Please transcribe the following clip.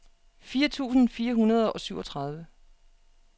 fire tusind fire hundrede og syvogtredive